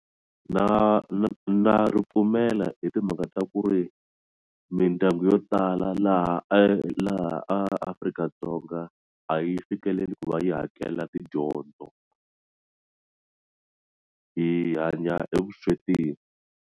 Na na na ri pfumela hi timhaka ta ku ri mindyangu yo tala laha e laha Afrika-Dzonga a yi fikeleli ku va yi hakela tidyondzo hi hanya evuswetini.